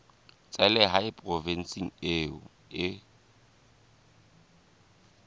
tsa lehae provinseng eo o